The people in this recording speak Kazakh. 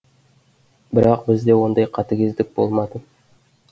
бірақ бізде ондай қатігездік болмады